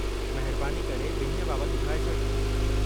महिरबानी करे बि॒न्हीअ बाबतु ॿुधाए छॾु।